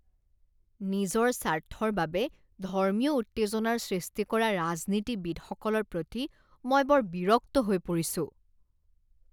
নিজৰ স্বাৰ্থৰ বাবে ধৰ্মীয় উত্তেজনাৰ সৃষ্টি কৰা ৰাজনীতিবিদসকলৰ প্ৰতি মই বৰ বিৰক্ত হৈ পৰিছোঁ।